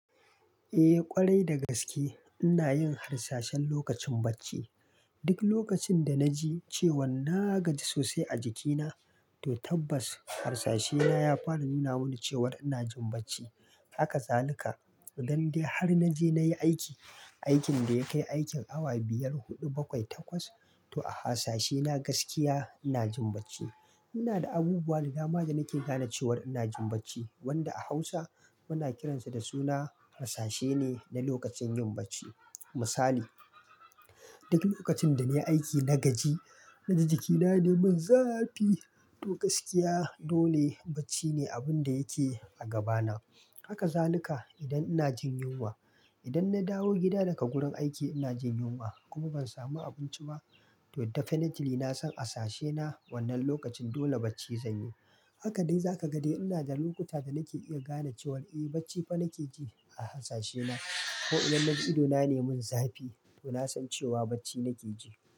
Eh ƙwarai da gaske ina yin harsashen lokacin bacci. Duk lokacin da naji cewan na gaji sosai a jikina, to tabbas harsashe na ya fara nuna mini cewar ina jin bacci. Haka zalika, idande har naje nayi aiki, aikin da ya kai aikin awa biyar, huɗu, bakwai, takwas to a harsashe na gaskiya ina jin bacci. Ina da abubuwa da dama da nake gane cewar ina jin bacci wanda a Hausa muna kiransa da suna harsashe ne na lokacin yin bacci. Misali, duk lokacin da nayi aiki na gaji, na ji jikina ne mun zafi to gaskiya dole bacci ne abun da yake a gabana. Haka zalika idan ina jin yunwa, idan na dawo gida daga gurin aiki ina jin yunwa kuma ban samu abinci ba to definitely nasan harsashe na wannan lokacin dole bacci zanyi. Haka dai zaka ga dai ina da lokuta da nake iya gane cewar eh bacci fa nake ji a harsashe na. Ko idan naji idona ne mun zafi to nasan cewa bacci nake ji.